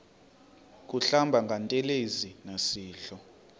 kuhlamba ngantelezi nasidlo